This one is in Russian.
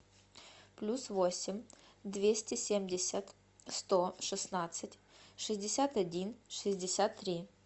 плюс восемь двести семьдесят сто шестнадцать шестьдесят один шестьдесят три